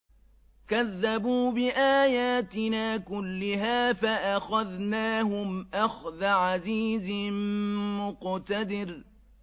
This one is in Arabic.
كَذَّبُوا بِآيَاتِنَا كُلِّهَا فَأَخَذْنَاهُمْ أَخْذَ عَزِيزٍ مُّقْتَدِرٍ